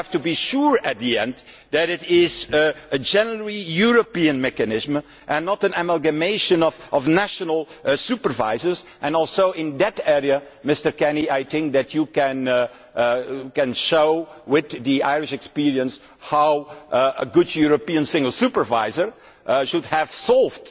we have to be sure at the end that it is a genuinely European mechanism and not an amalgamation of national supervisors and also in that area, Mr Kenny, I think that you can show with the Irish experience how a good European single supervisor should have solved